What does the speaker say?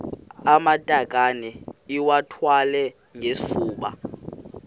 amatakane iwathwale ngesifuba